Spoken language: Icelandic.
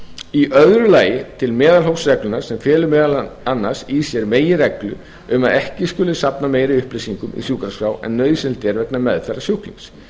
í öðru lagi til meðalhófsreglna sem fela meðal annars í sér meginreglu um að ekki skuli safna meiri upplýsingum í sjúkraskrá en nauðsynlegt er vegna meðferðar sjúklings